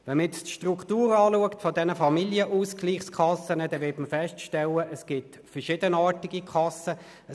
Betrachtet man die Struktur der Familienausgleichskassen, wird stellt man fest, dass es verschiedenartige Kassen gibt.